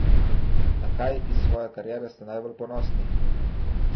Na kaj iz svoje kariere ste najbolj ponosni?